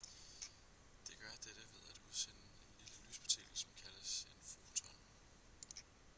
det gør dette ved at udsende en lille lyspartikel som kaldes en foton